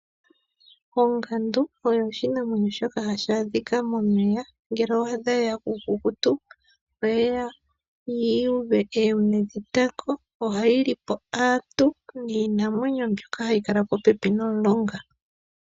Ongandu oyo oshinamwenyo shoka hashi adhika momeya. Ngele owaadha yeya kuukukutu, oyeya yuuve oonte dhetango. Ohayi li po aantu niinamwenyo mbyoka hayi kala popepi nomulonga.